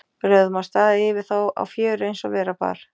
Við lögðum af stað yfir þá á fjöru eins og vera bar.